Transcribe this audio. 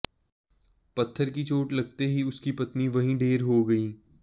पत्थर की चोट लगते ही उसकी पत्नी वहीं ढेर हो गई